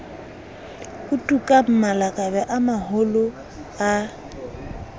otukang malakabe a maholo a